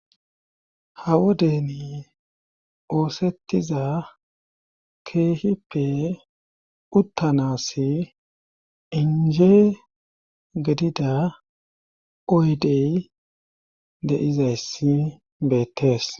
hawodeni oosettiza keehippe uttanas inje gedida oydey de7izayssi beettees